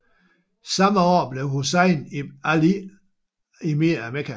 Samme år blev Hussein ibn Ali emir af Mekka